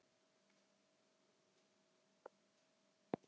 Ég er að tala um peningana í bankabókinni.